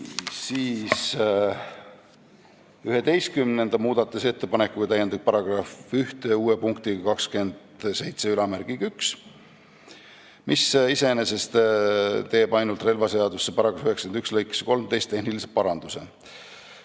11. muudatusettepanekuga täiendatakse § 1 uue punktiga 271, mis iseenesest teeb ainult relvaseadusesse § 91 lõikesse 13 tehnilise paranduse.